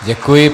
Děkuji.